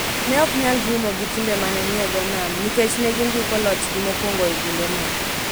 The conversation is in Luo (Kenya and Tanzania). ne ok nyal romo gi timbe ma ne ni e dho nam nikech ne gindiko lochgi mokwongo e kindeno.